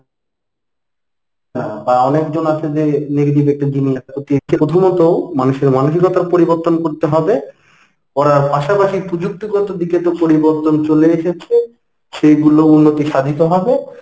না বা অনেকজন আছে যে negative একটা প্রথমত মানুষের মানুসিকতার পরিবর্তন করতে হবে। করার পাশাপাশি পুযুক্তিগত দিকে একটু পরিবর্তন চলে এসেছে সেইগুলো উন্নতি সাধিত হবে